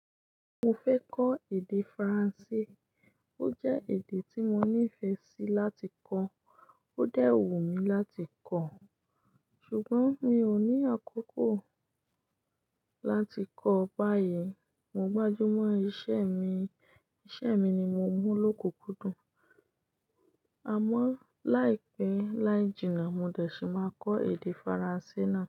Mo fẹ́ kọ́ èdè Faransé, ó jẹ́ èdè tí mo níìfẹ̀ sí láti kọ́, ó dẹ́ wu mi láti kọ̀, ṣùgbọ́n mi ò ní àkókò láti kọ báyìí. Mo gbájú mọ́ iṣẹ́ mi, iṣẹ́ mi ni mo mú lókukúndùn, àmọ́ láìpẹ́ láì jìnnà mo dẹ̀ ṣì máa kọ́ èdè Faransé náà.